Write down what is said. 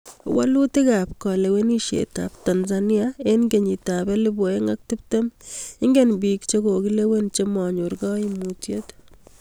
Walutik ab kalewenishet ab Tanzania eng kenyit ab ellebu ae'ng ak tiptem .Ingen biik che kokilewen cha manyor kaayiimuutyet